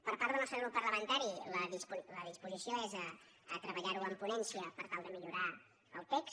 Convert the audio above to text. per part del nostre grup parlamentari la disposició és treballar ho en ponència per tal de millorar el text